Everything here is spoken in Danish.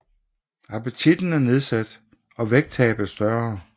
Appetitten er nedsat og vægttabet større